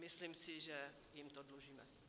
Myslím si, že jim to dlužíme.